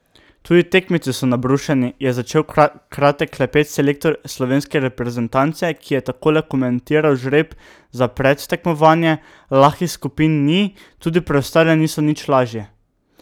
Tudi tekmeci so nabrušeni,' je začel kratek klepet selektor slovenske reprezentance , ki je takole komentiral žreb za predtekmovanje: 'Lahkih skupin ni, tudi preostale niso nič lažje.